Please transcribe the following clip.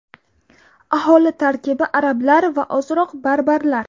Aholi tarkibi – arablar va ozroq barbarlar.